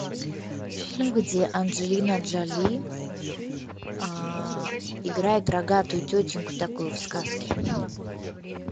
фильм где анджелина джоли играет рогатую тетеньку такую в сказке